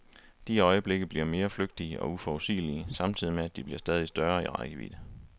De øjeblikke bliver mere flygtige og uforudsigelige, samtidig med at de bliver stadig større i rækkevidde.